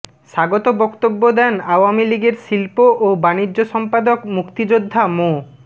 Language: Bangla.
স্বাগত বক্তব্য দেন আওয়ামী লীগের শিল্প ও বাণিজ্য সম্পাদক মুক্তিযোদ্ধা মো